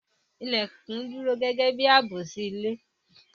Ilèkùn dúró gẹ́gẹ́ bi ààbò sí ilé